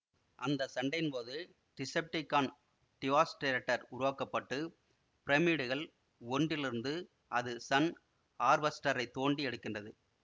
அந்த சண்டையின் போது டிசெப்டிகான் டிவாஸ்டேடர் உருவாக்க பட்டு பிரமிடுகள் ஒன்றிலிருந்து அது சன் ஹார்வஸ்டரை தோண்டி எடுக்கின்றது